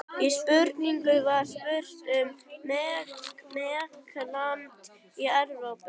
Í spurningunni var spurt um meginland Evrópu.